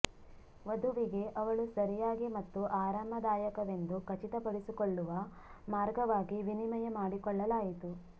ವಧುವಿಗೆ ಅವಳು ಸರಿಯಾಗಿ ಮತ್ತು ಆರಾಮದಾಯಕವೆಂದು ಖಚಿತಪಡಿಸಿಕೊಳ್ಳುವ ಮಾರ್ಗವಾಗಿ ವಿನಿಮಯ ಮಾಡಿಕೊಳ್ಳಲಾಯಿತು